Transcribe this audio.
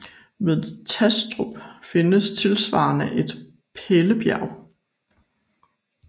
Ved Tastrup findes tilsvarende et Pælebjerg